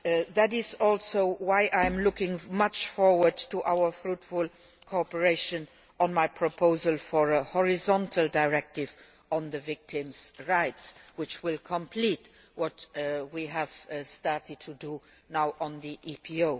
That is also why I very much look forward to our fruitful cooperation on my proposal for a horizontal directive on victims' rights, which will complete what we have now started to do on the EPO.